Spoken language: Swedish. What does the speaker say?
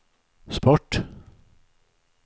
sport